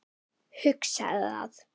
Hugsaði það.